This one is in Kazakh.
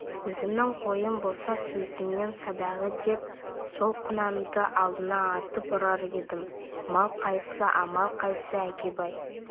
өзімнің қойым болса сөзіңнен садаға деп сол құнанды алдыңа атып ұрар едім амал қайсы амал қайсы әкебай